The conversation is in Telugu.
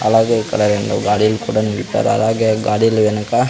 అలాగే ఇక్కడ రెండు గాడీలు కూడా నిలిపారు అలాగే గాడీల వెనక--